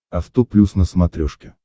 авто плюс на смотрешке